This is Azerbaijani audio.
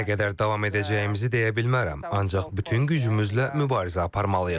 Nə qədər davam edəcəyimizi deyə bilmərəm, ancaq bütün gücümüzlə mübarizə aparmalıyıq.